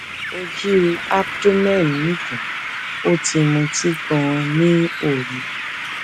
ojú abdomen ń dun ó ti mutí ganan ní òru